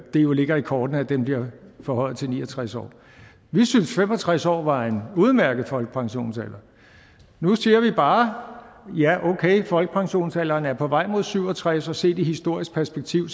det jo ligger i kortene at den bliver forhøjet til ni og tres år vi synes fem og tres år var en udmærket folkepensionsalder nu siger vi bare ja okay folkepensionsalderen er på vej mod syv og tres år og set i historisk perspektiv